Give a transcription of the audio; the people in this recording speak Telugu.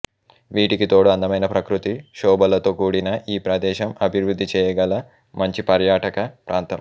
వీటికి తోడు అందమైన ప్రకృతి శోభలతో కూడిన ఈ ప్రదేశం అభివృద్ధి చేయగల మంచి పర్యాటక ప్రాంతం